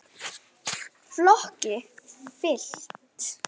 Flokki fylkt.